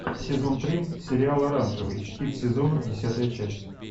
сезон три сериал оранжевый хит сезона десятая часть